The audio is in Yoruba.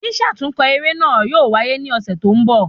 Sísàtúnkọ eré náà yóò waye ni ọ̀sẹ̀ tó ń bọ̀